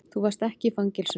Þú varst ekki í fangelsinu.